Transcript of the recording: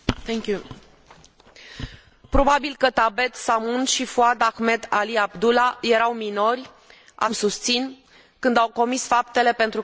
Probabil că Thabet Samoun și Fouad Ahmed Ali Abdulla erau minori, așa cum susțin, când au comis faptele pentru care au fost condamnați la moarte.